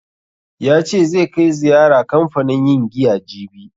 Ya ce zai kai ziyara kanfanin yin giya jibi.